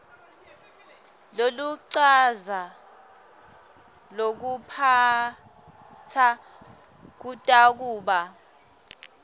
loluchaza lokuphatsa kutakuba